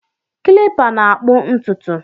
Kilipa na-akpụ ntụtụ